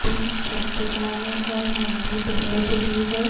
دن چھپ چکا ہے اور مغرب ہو چکی ہے-